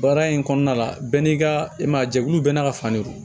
Baara in kɔnɔna la bɛɛ n'i ka i man jɛkulu bɛɛ n'a ka fan de don